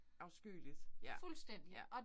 Afskyeligt. Ja ja